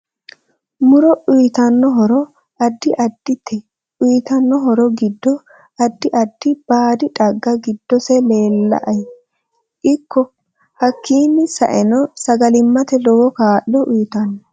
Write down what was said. Muro uyiitanno horo addi addite uyiitanno horo giddo addi addi baadi xagga giddose leelaae ikko hakiini saeno sagalimate lowo kaa'lo uyiitanno